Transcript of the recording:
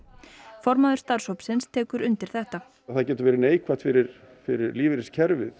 formaður starfshópsins tekur undir þetta það getur verið neikvætt fyrir fyrir lífeyriskerfið